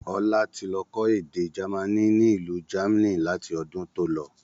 Ọlá tí lọ kọ́ èdè jamaní ni ilu jamni láti ọdún tó lọ.